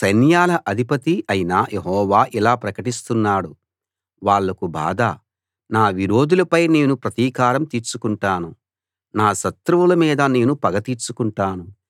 సైన్యాల అధిపతీ అయిన యెహోవా ఇలా ప్రకటిస్తున్నాడు వాళ్లకు బాధ నా విరోధులపై నేను ప్రతీకారం తీర్చుకుంటాను నా శత్రువుల మీద నేను పగ తీర్చుకుంటాను